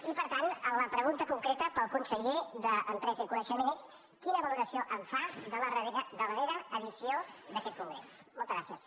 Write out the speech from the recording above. i per tant la pregunta concreta per al conseller d’empresa i coneixement és quina valoració en fa de la darrera edició d’aquest congrés moltes gràcies